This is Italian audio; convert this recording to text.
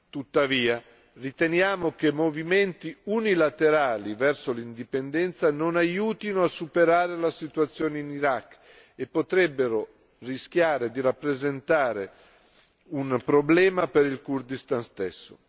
Tuttavia, riteniamo che movimenti unilaterali verso l'indipendenza non aiutino a superare la situazione in Iraq e potrebbero rischiare di rappresentare un problema per il Kurdistan stesso.